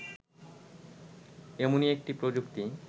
এমনই একটি প্রযুক্তি